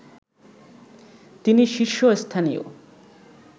তিনি শীর্ষস্থানীয়